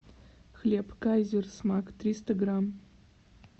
хлеб кайзер смак триста грамм